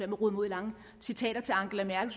mig ud i lange citater af angela merkel